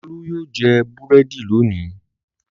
Olú yóò jẹ búrẹ́dì lónìí!